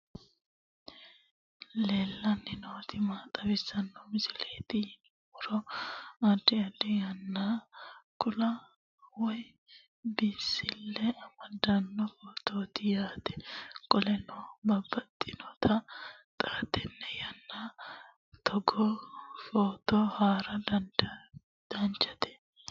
aleenni nooti maa xawisanno misileeti yinummoro addi addi dananna kuula woy biinsille amaddino footooti yaate qoltenno baxissannote xa tenne yannanni togoo footo haara danchate